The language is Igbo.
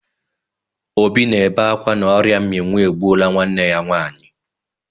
Obi na-ebe akwa na ọrịa mminwụ egbuola nwanne ya nwaanyị.